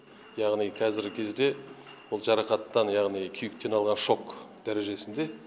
яғни қазіргі кезде ол жарақаттан яғни күйіктен алған шок дәрежесінде